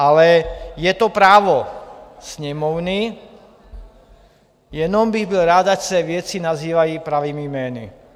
Ale je to právo Sněmovny, jenom bych byl rád, ať se věci nazývají pravými jmény.